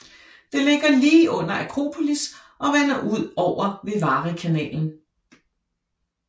Det ligger lige under Akropolis og vender ud over Vivarikanalen